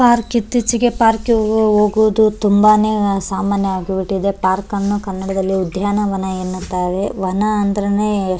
park ಇತ್ತೀಚಿಗೆ ಪಾರ್ಕ್ಗೆ ಹೋಗೋದು ತುಂಬಾನೇ ಸಾಮಾನ್ಯ ಆಗಿ ಬಿಟ್ಟಿದೆ ಪಾರ್ಕ್ ಅನ್ನು ಕನ್ನಡದಲ್ಲಿ ಉದ್ಯಾನವನ ಎನ್ನುತ್ತಾರೆ ವನ ಅಂದ್ರೇನೆ --